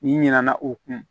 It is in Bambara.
N'i ɲina na o kun